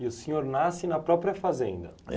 E o senhor nasce na própria fazenda?